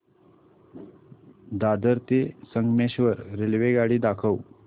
दादर ते संगमेश्वर रेल्वेगाडी दाखव